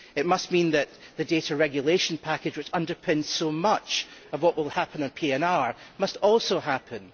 It means that the data regulation package, which underpins so much of what will happen with PNR, must also happen.